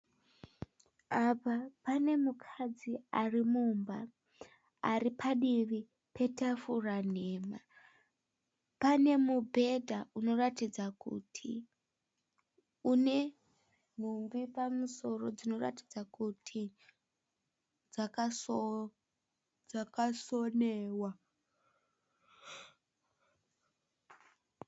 Apa pane mukadzi ari mumba. Aripadivi petafura nhema. Pane mubhedha unoratidza kuti unenhumbi dzinoratidza kuti dzaka sonewa.